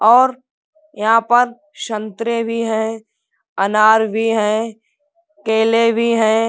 और यहाँ पर संतरे भी हैंअनार भी हैंकेले भी हैं।